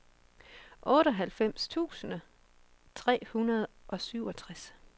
otteoghalvfems tusind tre hundrede og syvogtres